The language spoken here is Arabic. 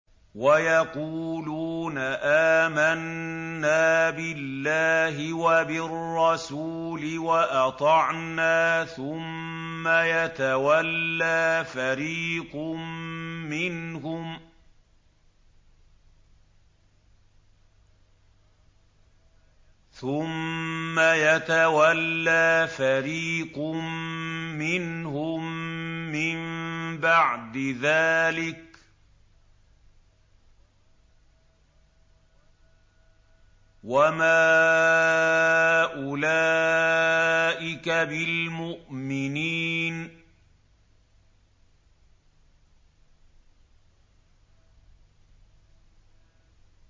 وَيَقُولُونَ آمَنَّا بِاللَّهِ وَبِالرَّسُولِ وَأَطَعْنَا ثُمَّ يَتَوَلَّىٰ فَرِيقٌ مِّنْهُم مِّن بَعْدِ ذَٰلِكَ ۚ وَمَا أُولَٰئِكَ بِالْمُؤْمِنِينَ